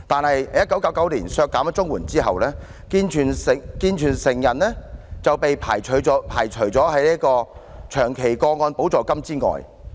可是，在1999年削減綜援之後，健全成人就被排除在長期個案補助金之外。